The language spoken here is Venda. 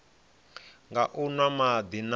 nga u nwa madi na